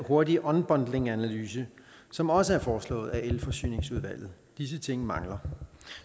hurtig unbundlinganalyse som også er foreslået af elforsyningsudvalget disse ting mangler